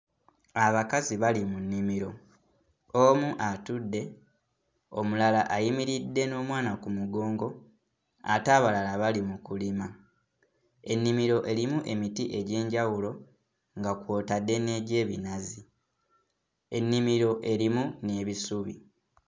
Abakazi bali mu nnimiro. Omu atudde, omulala ayimiridde n'omwana ku mugongo ate abalala bali mu kulima. Ennimiro erimu emiti egy'enjawulo nga kw'otadde n'egy'ebinazi, ennimiro erimu n'ebisubi.